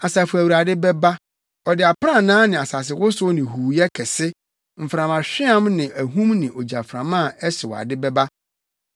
Asafo Awurade bɛba. Ɔde aprannaa ne asasewosow ne huuyɛ kɛse, mframahweam ne ahum ne ogyaframa a ɛhyew ade bɛba.